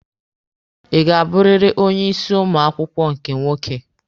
Ị ga-abụrịrị onye isi ụmụ akwụkwọ nke nwoke?